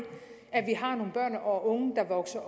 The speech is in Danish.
at vi har nogle børn og unge der vokser